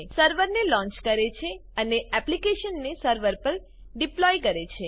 સર્વરને launch કરે છે અને એપ્લીકેશનને સર્વર પર ડીપ્લોય કરે છે